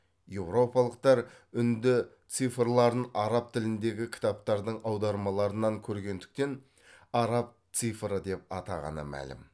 еуропалықтар үнді цифрларын араб тіліндегі кітаптардың аудармаларынан көргендіктен араб цифры деп атағаны мәлім